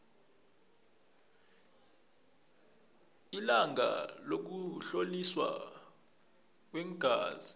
ilanga lokuhloliswa kweengazi